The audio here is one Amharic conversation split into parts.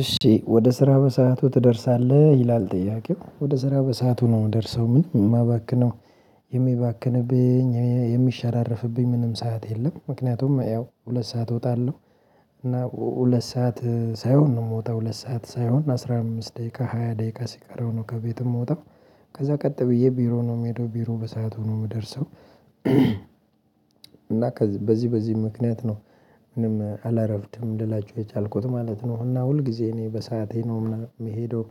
እሺ ወደ ስራ በሰአቱ ትደርሳለህ ይላል ጥያቄው ወደ ስራ በሰአቱ ነው ደርሰው ምንም የማባክነው የሚባክንብኝ የሚሸራረፍብኝ ምንም ሰዓት የለም። ምክንያቱም ያው ሁለት ሰዓት እወጣለሁ። እና ሁለት ሰዓት ሳይሆን ነው የምወጣው ሁለት ሰዓት ሳይሆን አስራ አምስት ደቂቃ ሃያ ደቂቃ ሲቀረው ነው ከቤት ምወጣ ከዛ ቀጥ ብዬ ቢሮ ነው የምሄደው ቢሮ በሰአቱ ነው የምደርሰው። እና በዚህ በዚህ ምክንያት ነው ምንም አላረፍድም ልላችሁ የቻልኩት ማለት ነው። እና ሁል ጊዜ እኔ በሰአቴ ነው የምሄደው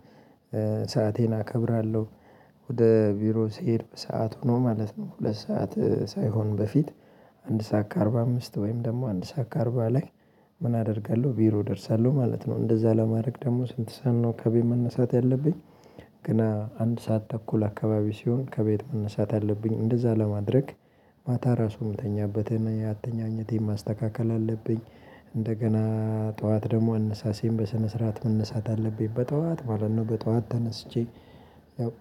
ሰአቴን አከብራለሁ። ወደ ቢሮ ስሄድ በሰአት ሆኖ ማለት ነው ሁለት ሰዓት ሳይሆን በፊት አንድ ሰዓት ከአርባ አምስት ወይም ደግሞ አንድ ሰዓት ከአርባ ላይ ምን አደርጋለሁ ቢሮ እደርሳለሁ ማለት ነው። እንደዛ ለማድረግ ደግሞ ስንት ሰን ነው ከቤት መነሳት ያለብኝ? ገና አንድ ሰዓት ተኩል አካባቢ ሲሆን ከቤት መነሳት አለብኝ እንደዛ ለማድረግ። ማታ ራሱ የምተኛበትን ያተኛኘቴን ማስተካከል አለብኝ። እንደገና ጠዋት ደግሞ አነሳሴን በስነ ስርዓት መነሳት አለብኝ በጠዋት ማለት ነው በጠዋት ተነስቼ ያው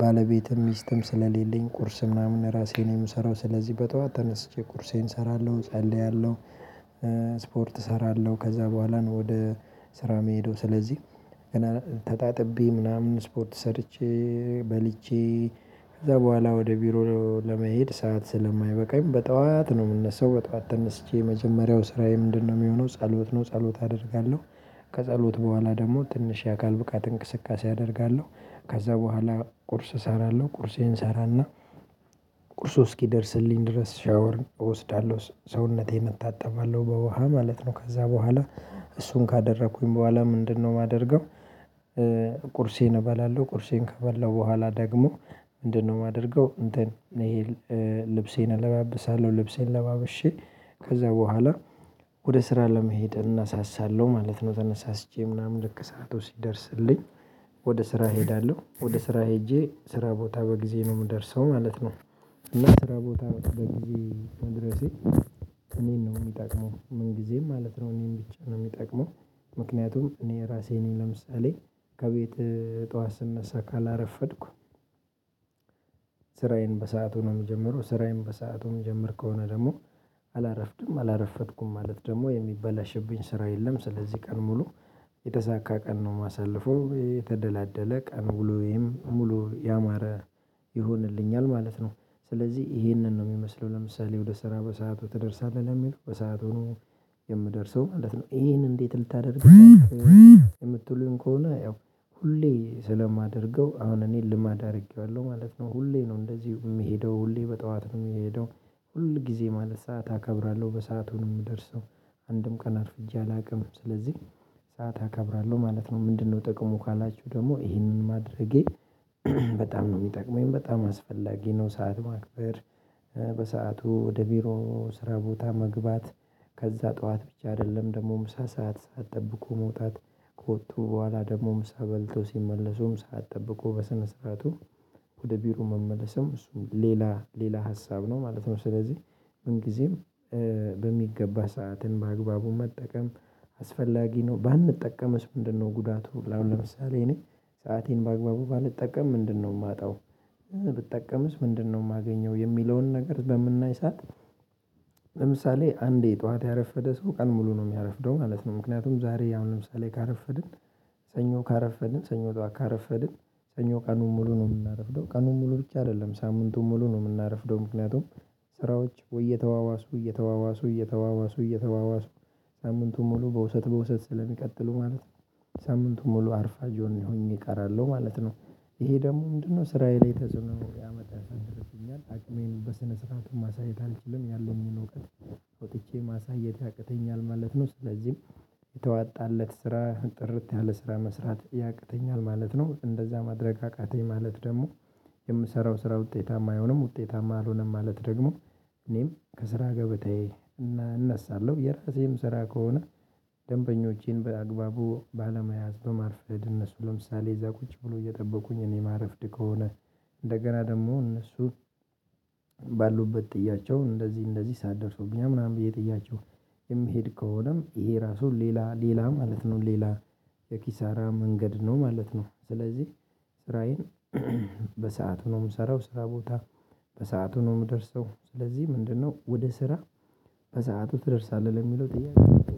ባለቤትም ሚስትም ስለሌለኝ ቁርስ ምናምን ራሴን የምሰራው ስለዚህ በጠዋት ተነስቼ ቁርሴን እሰራለሁ እጸልያለሁ። እሰራለሁ ከዛ በኋላ ነው ወደ ስራ የሚሄደው ስለዚህ ገና ተጣጥቤ ምናምን ስፖርት ሰርቼ በልቼ ከዛ በኋላ ወደ ቢሮ ለመሄድ ሰዓት ስለማይበቃኝ በጧት ነው የምነሳው። በጧት ተነስቼ የመጀመሪያው ስራዬ ምንድነው የሚሆነው ጸሎት ነው። ጸሎት አደርጋለሁ ከጸሎት በኋላ ደግሞ ትንሽ የአካል ብቃት እንቅስቃሴ አደርጋለሁ ከዛ በኋላ ቁርስ እሰራለሁ ቁርሴን እሰራና ቁርሱ እስኪደርስልኝ ድረስ ሻወር እወስዳለሁ ሰውነቴን እታጠባለሁ በውሃ ማለት ነው። ከዛ በኋላ እሱን ካደረኩኝ በኋላ ምንድነው የማደርገው? ቁርሴን እበላለሁ ቁርሴን ከበላሁ በኋላ ደግሞ ምንድነው የማደርገው እንትን ይሄ ልብሴን እለባብሳለሁ ልብሴን ለባብሼ ከዛ በኋላ ወደ ስራ ለመሄድ እነሳሳለሁ ማለት ነው። ተነሳስቼ ምናምን ልክ ሰዓቱ ሲደርስልኝ ወደ ስራ እሄዳለሁ ወደ ስራ ሄጄ ስራ ቦታ በጊዜ ነው የምደርሰው ማለት ነው። እና ስራ ቦታ በጊዜ መድረሴ እኔን ነው የሚጠቅመው ምን ጊዜም ማለት ነው እኔን ብቻ ነው የሚጠቅመው። ምክንያቱም እኔ ራሴ እኔ ለምሳሌ ከቤት ጠዋት ስነሳ ካላረፈድኩ ስራዬን በሰአቱ ነው የምጀምረው ስራዬን በሰአቱ ምጀምር ከሆነ ደግሞ አላረፍድም። አላረፈድኩም ማለት ደግሞ የሚበላሽብኝ ስራ የለም ስለዚህ ቀን ሙሉ የተሳካ ቀን ነው ማሳለፉ የተደላደለ ቀን ውሎየም ሙሉ ያማረ ይሆንልኛል ማለት ነው። ስለዚህ ይሄንን ነው የሚመስለው ለምሳሌ ወደ ስራ በሰአቱ ትደርሳለህ ለሚል በሰአቱ ነው የምደርሰው ማለት ነው ይሄን እንዴት ልታደርግ? የምትሉኝ ከሆነ ያው ሁሌ ስለማደርገው አሁን እኔ ልማድ አድርጌዋለሁ ማለት ነው። ሁሌ ነው እንደዚህ የምሄደው ሁሌ በጠዋት ነው የምሄደው ሁል ጊዜ ማለት ሰዓት አከብራለሁ በሰአቱ ነው የምደርሰው አንድም ቀን አርፍጄ አላውቅም። ስለዚህ ሰዓት አከብራለሁ ማለት ነው ምንድነው ጥቅሙ ካላችሁ ደግሞ ይህንን ማድረጌ በጣም ነው የሚጠቅመኝ በጣም አስፈላጊ ነው ሰዓት ማክበር። በሰአቱ ወደ ቢሮ ስራ ቦታ መግባት ከዛ ጠዋት ብቻ አይደለም ደግሞ ምሳ ሰዓት ሰዓት ጠብቆ መውጣት ከወጡ በኋላ ደግሞ ምሳ በልቶ ሲመለሱም ሰዓት ጠብቆ በሰነ ስርዓቱ ወደ ቢሮ መመለስም እሱም ሌላ ሌላ ሀሳብ ነው ማለት ነው። ስለዚህ ምን ጊዜም በሚገባ ሰዓትን በአግባቡ መጠቀም አስፈላጊ ነው። ባንጠቀምስ ምንድነው ጉዳቱ አሁን ለምሳሌ እኔ ሰአቴን በአግባቡ ባንጠቀም ምንድነው የማጣው? ብጠቀምስ ምንድነው የማገኘው የሚለውን ነገር በምናይ ሰዓት። ለምሳሌ አንዴ ጠዋት ያረፈደ ሰው ቀን ሙሉ ነው የሚያረፍደው ማለት ነው። ምክንያቱም ዛሬ አሁን ለምሳሌ ካረፈድን ሰኞ ካረፈድን ሰኞ ጠዋት ካረፈድን ሰኞ ቀኑን ሙሉ ነው የምናረፍደው ቀኑን ሙሉ ብቻ አይደለም ሳምንቱን ሙሉ ነው የምናረፍደው። ምክንያቱም ስራዎች ወይ እየተዋዋሱ እየተዋዋሱ እየተዋዋሱ እየተዋዋሱ ሳምንቱን ሙሉ በውሰት በውሰት ስለሚቀጥሉ ማለት ነው ነው ሳምንቱ ሙሉ አርፋጅ ሆኜ እቀራለሁ ማለት ነው። ይሄ ደግሞ ምንድነው ስራዬ ላይ ተጽዕኖ ያመጣል ያሳድርብኛል አቅሜን በስነ ስርዓት ማሳየት አልችልም። ያለኝን እውቀት ወጥቼ ማሳየት ያቅተኛል ማለት ነው። ስለዚህም የተዋጣለት ስራ ጥርት ያለ ስራ መስራት ያቅተኛል ማለት ነው። እንደዛ ማድረግ አቃተኝ ማለት ደግሞ የምሰራው ስራ ውጤታማ አይሆንም ውጤታማ አልሆነም። ማለት ደግሞ እኔም ከስራ ገበታዬ እነሳለሁ የራሴም ስራ ከሆነ ደንበኞቼን በአግባቡ ባለመያዝ በማርፈድ እነሱ ለምሳሌ እዛ ቁጭ ብሎ። እየጠበቁኝ እኔ ማረፍድ ከሆነ እንደገና ደግሞ እነሱ ባሉበት ጥያቸው እንደዚህ እንደዚህ ሰዓት ደርሶብኛል ምናምን ብዬ ጥያቸው የምሄድ ከሆነም ይሄ ራሱ ሌላ ሌላ ማለት ነው ሌላ የኪሳራ መንገድ ነው ማለት ነው። ስለዚህ ስራዬን በሰአቱ ነው የምሰራው ስራ ቦታ በሰአቱ ነው የምደርሰው። ስለዚህ ምንድነው ወደ ስራ በሰአቱ ትደርሳለህ ለሚለው ጥያቄ?